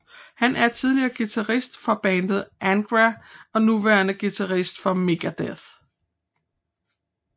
Han er tidligere guitarist for bandet Angra og nuværende guitarist for Megadeth